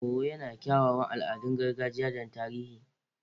Owo yana da kyawawan al'adun gargajiya da na tarihi.